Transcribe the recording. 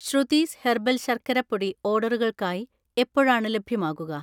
Shruthi's herbal ശർക്കര പൊടി ഓർഡറുകൾക്കായി എപ്പോഴാണ് ലഭ്യമാകുക?